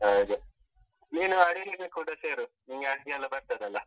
ಹಾಗೆ, ನೀನು ಅಡುಗೆಗೆ ಕೂಡ ಸೇರು, ನಿಂಗೆ ಅಡುಗೆಯೆಲ್ಲ ಬರ್ತದಲ್ಲ?